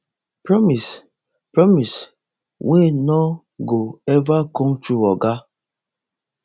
promise promise wey no go eva come true oga